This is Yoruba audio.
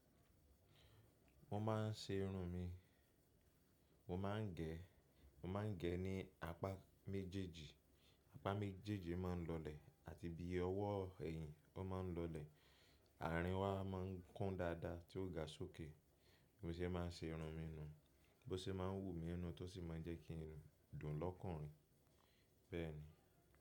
Mo má ń ṣe irun mi, mo má ń gé, mo má ń gé ní apá méjèjì, apá méjèjì má ń lọ́lẹ̀ àti bí ọwọ́ ẹ̀yìn, ó má ń lọ́lẹ̀, àrin wa má ń kún dáadáa tí ó ga sókè, bó ṣe má ń ṣe irun mi nù, bó ṣe má ń wúmi nù, tó sì má ń jẹ kí n dùn lọ́kùnrin, bẹ́ẹ̀ni.